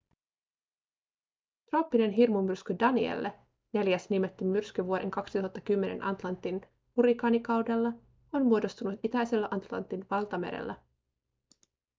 trooppinen hirmumyrsky danielle neljäs nimetty myrsky vuoden 2010 atlantin hurrikaanikaudella on muodostunut itäisellä atlantin valtamerellä